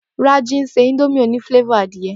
Rájí ń ṣe indomie òní flávòr adìẹ